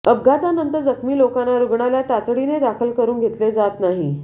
अपघातानंतर जखमी लोकांना रुग्णालयात तातडीने दाखल करून घेतले जात नाही